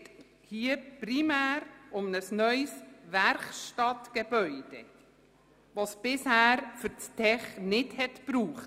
Es geht hier primär um ein neues Werkstattgebäude, welches bisher für das «Tech» nicht erforderlich war.